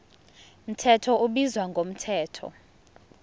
mthetho ubizwa ngomthetho